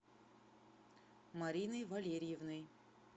мариной валерьевной